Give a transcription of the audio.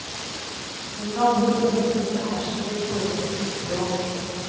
Den gamle bonden behersker et poetisk språk.